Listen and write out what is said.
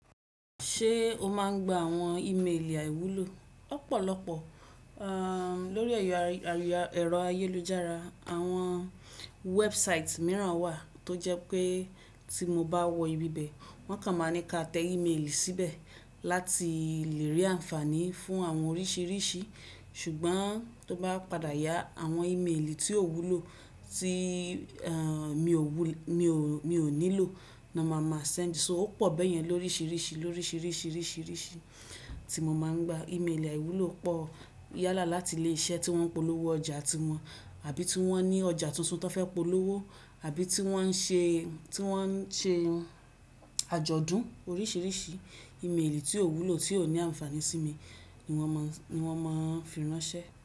Ṣé o máa ń gba àwọn ìmeèlì àìwúlò? Lopọ̀lọpọ̀ lórí ẹ̀rọ ayélujára, àwọn wẹ́ẹ̀busaịtì mìíràn wà tó jẹ́ pé tí mo bá wọ ibi bẹ́ẹ̀, wọ́n kàn máa ní ká tẹ ìmeèlì síbẹ̀ láti lè rí ànfàní fún àwọn oríṣìíríṣìí. Ṣùgbọ́n tó bá padà yá, àwọn ìmeèlì tí ò wúlò tí mi ò nílò ni wọ́n máa máa ṣẹ́. So ó pọ̀ bẹ́yẹn lóríṣìíríṣìí, lóríṣìíríṣìí, ríṣìíríṣìí tí mo máa ń gba ìmeèlì àìwúlò pọ̀. Yálà láti ilé iṣẹ́ tí wọ́n polówó ọjà tiwọn àbí tí wọ́n ní ọjà tuntun tí wọ́n fẹ́ polówó àbí tí wọ́n ń ṣe àjọ̀dún oríṣìíríṣìí. Ìmeèlì tí ò wúlò tí ò ní ànfàní sí mi ni wọ́n máa fi ránṣẹ́.